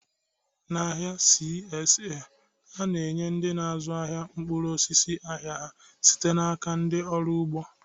Na ahịa CSA, a na-enye ndị na-azụ ahịa mkpụrụ osisi ahia ha site n'aka ndị ọrụ ugbo